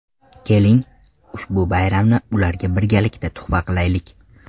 Keling, ushbu bayramni ularga birgalikda tuhfa qilaylik.